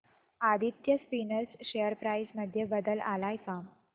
Aditya spinners share price मध्ये बदल आलाय का